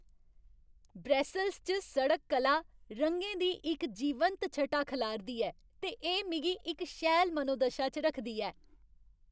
Brussels च सड़क कला रंगें दी इक जीवंत छटा खलारदी ऐ ते एह् मिगी इक शैल मनोदशा च रखदी ऐ।